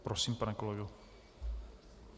Prosím, pane kolego.